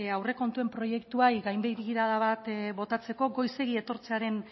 aurrekontuen proiektuari gain begirada bat botatzeko goizegi etortzearen